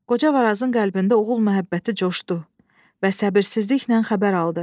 Qoca Varazın qəlbində oğul məhəbbəti coşdu və səbirsizliklə xəbər aldı.